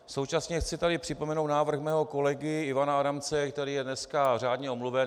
Současně chci tady připomenout návrh svého kolegy Ivana Adamce, který je dneska řádně omluven.